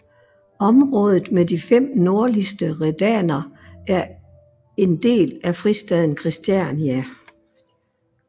Området med de fem nordligste redaner er en del af fristaden Christiania